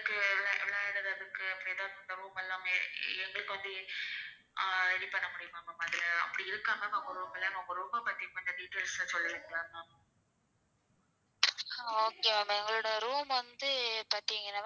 Okay எங்களோட room வந்து,